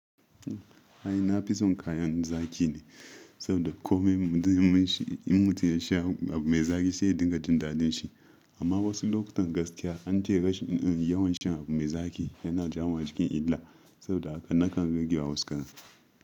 Ai na fison kayan zaki ne, saboda kome mutumin shi, in mutum ya sha abu mai zaki shi ya dinga jin dalil shi. Amma wasu lokutan gaskiya an ce rash yawan shan abu mai zaki yana jawo cikin illa, saboda haka nakan rage wa wasu kaya.